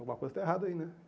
Alguma coisa está errada aí, né?